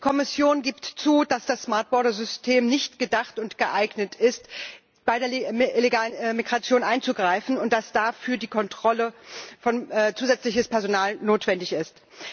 Die Kommission gibt zu, dass das smart border System nicht gedacht und geeignet ist, bei der illegalen Migration einzugreifen, und dass dafür die Kontrolle durch zusätzliches Personal notwendig ist.